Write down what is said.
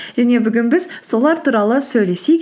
және бүгін біз солар туралы сөйлесейік